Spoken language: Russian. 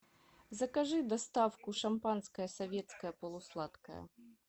закажи доставку шампанское советское полусладкое